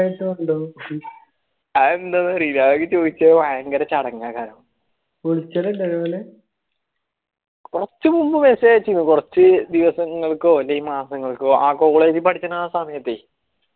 ഉളിച്ചാലൊണ്ടോ നല്ല